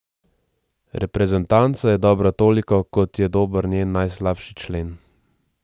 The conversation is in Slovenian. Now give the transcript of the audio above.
Reprezentanca je dobra toliko, kot je dober njen najslabši člen.